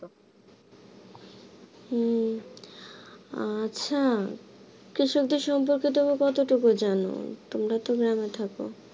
উম আচ্ছা কৃষকদের সম্পর্কে তুমি কতটুকু জানো? তোমারা তো গ্রামে থাকো